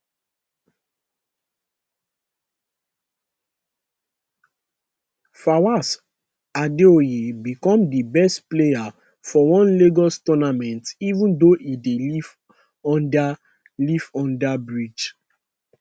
fawaz adeoye become di best player for one lagos tournament even though e dey live under live under bridge